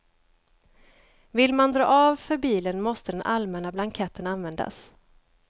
Vill man dra av för bilen måste den allmänna blanketten användas.